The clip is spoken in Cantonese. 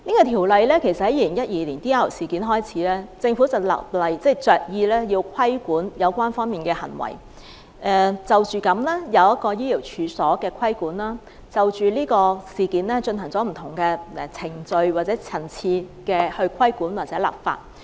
《條例草案》其實由2012年的 DR 事件開始，政府着意立例規管有關方面的行為，因而對醫療處所作出規管，就着事件進行不同程序或層次的規管或立法。